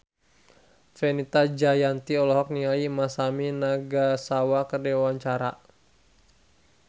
Fenita Jayanti olohok ningali Masami Nagasawa keur diwawancara